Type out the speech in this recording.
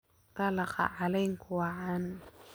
Dalagga caleenku waa caan.